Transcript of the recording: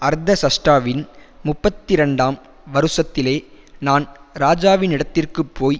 அர்தசஷ்டாவின் முப்பத்திரண்டாம் வருஷத்திலே நான் ராஜாவினிடத்திற்குப்போய்